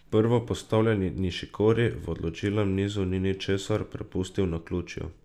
Prvopostavljeni Nišikori v odločilnem nizu ni ničesar prepustil naključju.